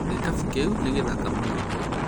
gĩkabu kĩu nĩ gĩthaka mũno